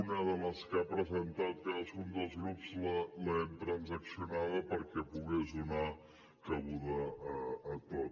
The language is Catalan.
una de les que ha presentat cadascun dels grups l’hem transaccionada perquè pogués donar cabuda a tot